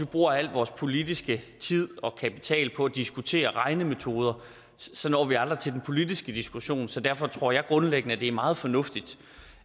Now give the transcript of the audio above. bruger al vores politiske tid og kapital på at diskutere regnemetoder så når vi aldrig til den politiske diskussion så derfor tror jeg grundlæggende at det er meget fornuftigt